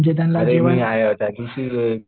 अरे मी आहे आता रे